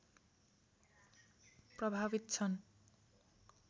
प्रभावित छन्